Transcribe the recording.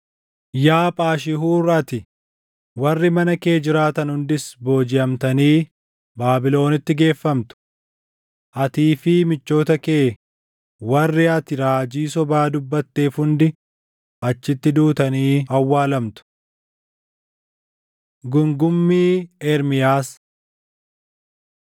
Yaa Phaashihuur ati, warri mana kee jiraatan hundis boojiʼamtanii Baabilonitti geeffamtu. Atii fi michoota kee warri ati raajii sobaa dubbatteef hundi achitti duutanii awwaalamtu.’ ” Gungummii Ermiyaas